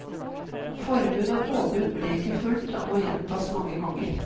Forbud og påbud ble ikke fulgt, og må gjentas mange ganger.